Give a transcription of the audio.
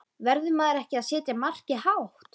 Verður maður ekki að setja markið hátt?